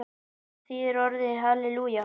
Hvað þýðir orðið halelúja?